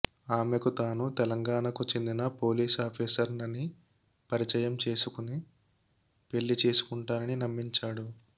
ఆమెకు తాను తెలంగాణ కు చెందిన పోలీస్ ఆఫీసర్ నని పరిచయం చేసుకుని పెళ్లి చేసుకుంటానని నమ్మించాడు